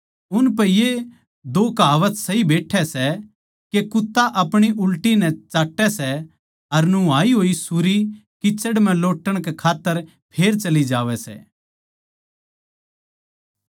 उनपै ये दो कहावत सही बैट्ठै सै के कुत्ता अपणी उलटी नै चाट्टै सै अर नुहाई होई सुरी कीचड़ म्ह लोट्टण कै खात्तर फेर चली जावै सै